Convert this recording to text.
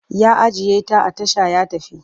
Ya ajiye ta a tasha ya tafi.